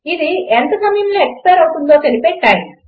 అది ఎంత సమయములో ఎక్స్పైర్ అవుతుందో తెలిపే టైమ్